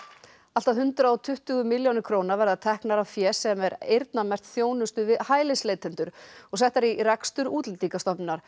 allt að hundrað og tuttugu milljónir króna verða teknar af fé sem er eyrnamerkt þjónustu við hælisleitendur og settar í rekstur Útlendingastofnunar